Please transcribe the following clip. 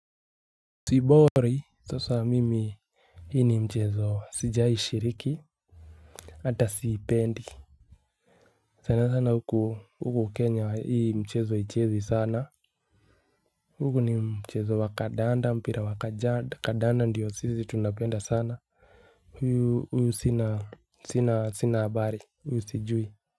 Sibori sasa mimi. Hii ni mchezo sijai shiriki. Hata siipendi. Sana sana huku huku kenya hii mchezo haichezwi sana huku ni mchezo wa kandanda mpira wa kandanda ndio sisi tunapenda sana. Huyu sina habari huyu sijui.